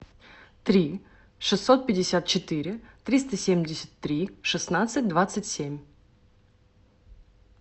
три шестьсот пятьдесят четыре триста семьдесят три шестнадцать двадцать семь